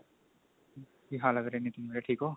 ਕੀ ਹਾਲ ਹੈ ਵੀਰੇ ਨਿਤਿਨ ਵੀਰੇ ਠੀਕ ਓ